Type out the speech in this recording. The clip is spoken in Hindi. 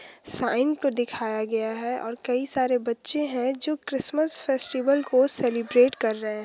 साइन को दिखाया गया है और कई सारे बच्चे है जो क्रिसमिस फेस्टिवल को सेलीब्रेट कर रहे है।